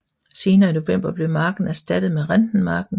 Senere i november blev marken erstattet med Rentenmarken